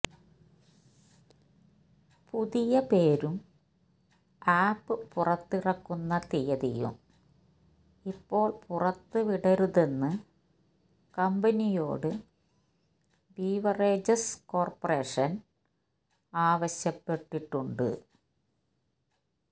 പുതിയ പേരും ആപ്പ് പുറത്തിറക്കുന്ന തിയതിയും ഇപ്പോൾ പുറത്ത് വിടരുതെന്ന് കമ്പിനിയോട് ബിവറേജസ് കോർപ്പറേഷൻ ആവശ്യപ്പെട്ടിട്ടുണ്ട്